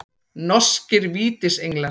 Norskir Vítisenglar.